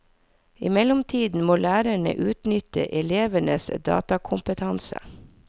I mellomtiden må lærerne utnytte elevenes datakompetanse.